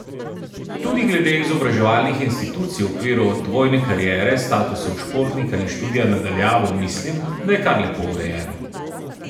Tudi glede izobraževalnih institucij v okviru dvojne kariere, statusov športnika in študija na daljavo mislim, da je kar lepo urejeno.